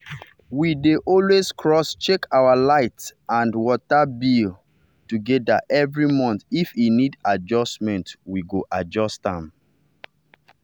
we dey always cross check out light and water bill together every monthif e need adjustment we go adjust am.